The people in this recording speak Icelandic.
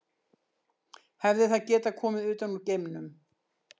Hefði það getað komið utan úr geimnum?